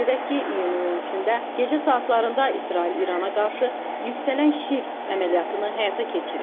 Qeyd edək ki, iyunun 13-də gecə saatlarında İsrail İrana qarşı yüksələn şir əməliyyatını həyata keçirib.